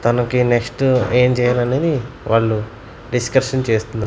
తనుకి next ఎం చేయాలనేది వాళ్ళు డిస్కర్షన్ చేస్తున్నా--